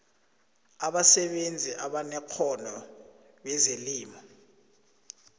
abasebenzi abanekghono bezelimo